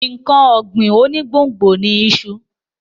Nǹkan ọ̀gbìn onígbòǹgbò ni iṣu.